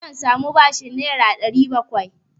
Zan sami bashin Naira 700?